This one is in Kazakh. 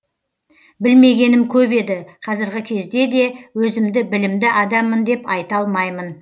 білмегенім көп еді қазіргі кезде де өзімді білімді адаммын деп айта алмаймын